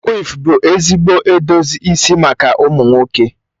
Quiff bụ ezigbo edozi isi maka ụmụ nwoke.